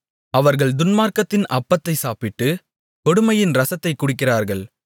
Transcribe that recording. அவர்கள் துன்மார்க்கத்தின் அப்பத்தைச் சாப்பிட்டு கொடுமையின் இரசத்தைக் குடிக்கிறார்கள்